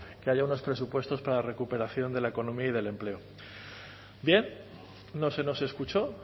que haya unos presupuestos para la recuperación de la economía y del empleo bien no se nos escuchó